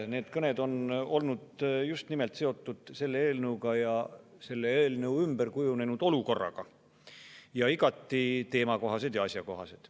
Need kõned on olnud just nimelt seotud selle eelnõuga ja selle eelnõu ümber kujunenud olukorraga, nad on olnud igati teemakohased ja asjakohased.